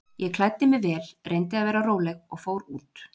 Ég klæddi mig vel, reyndi að vera róleg og fór út.